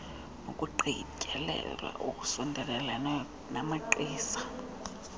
nokugqityezelwa olusondeleleneyo namagqiza